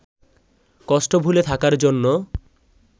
কষ্ট ভুলে থাকার জন্য